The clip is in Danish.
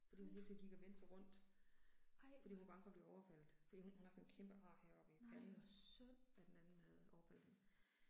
Fordi hun hele tiden gik og vendte sig rundt, fordi hun var bange for at blive overfaldet, fordi hun, hun har sådan et kæmpe ar heroppe i panden, af den anden havde overfaldet hende